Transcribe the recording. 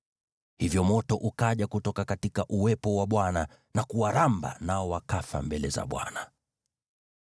Hivyo moto ukaja kutoka kwa uwepo wa Bwana na kuwaramba, nao wakafa mbele za Bwana .